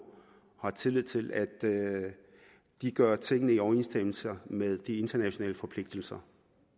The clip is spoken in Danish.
og har tillid til at de gør tingene i overensstemmelse med de internationale forpligtelser